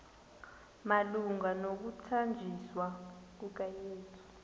malunga nokuthanjiswa kukayesu